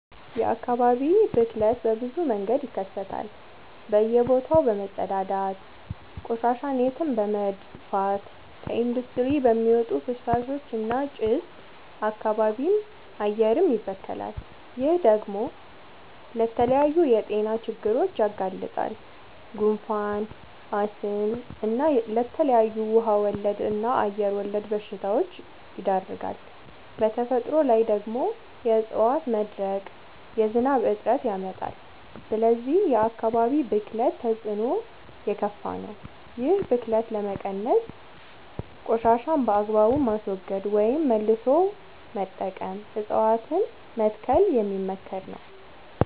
የአካባቢ ብክለት በብዙ መንገድ ይከሰታል በእየ ቦታው በመፀዳዳት፤ ቆሻሻን የትም በመድፍት፤ ከኢንዲስትሪ በሚወጡ ፍሳሾች እና ጭስ አካባቢም አየርም ይበከላል። ይህ ደግሞ ለተለያዩ የጤና ችግሮች ያጋልጣል። ጉንፋን፣ አስም እና ለተለያዩ ውሃ ወለድ እና አየር ወለድ በሽታወች ይዳርጋል። በተፈጥሮ ላይ ደግሞ የዕፀዋት መድረቅ የዝናብ እጥረት ያመጣል። ስለዚህ የአካባቢ ብክለት ተፅዕኖው የከፋ ነው። ይህን ብክለት ለመቀነስ ቆሻሻን በአግባቡ ማስወገድ ወይም መልሶ መጠቀም እፀዋትን መትከል የሚመከር ነው።